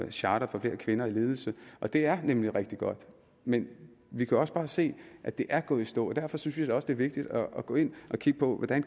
charter for flere kvinder i ledelse og det er nemlig rigtig godt men vi kan også bare se at det er gået i stå derfor synes jeg også det vigtigt at gå ind og kigge på hvordan